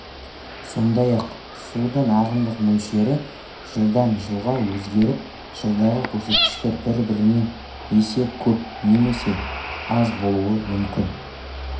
сондай-ақ судың ағымдық мөлшері жылдан жылға өзгеріп жылдағы көрсеткіштер бір-бірінен есе көп немесе аз болуы мүмкін